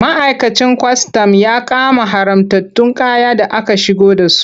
Ma'aikacin kwastam ya kama haramtattun kaya da aka shigo da su.